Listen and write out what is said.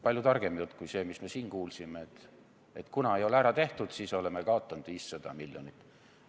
Palju targem jutt kui see, mis me siin kuulsime, et kuna ei ole ära tehtud, siis oleme kaotanud 500 miljonit.